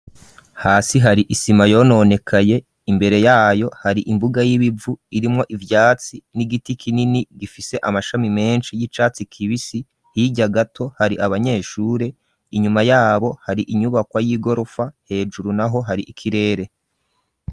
Hasi hari isima yononekaye imbere yaho hari imbuga y'ibivu irimwo ivyatsi n'igiti kinini gifise amashami meshi y'icatsi kibisi hirya gato hari abanyeshure inyuma yabo hari inyubakwa y'igorofa hejuru naho hari ikirere.